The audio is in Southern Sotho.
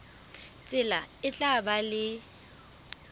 tsela e tla ba le